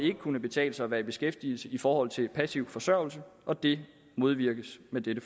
vil kunne betale sig at være i beskæftigelse i forhold til passiv forsørgelse og det modvirkes med dette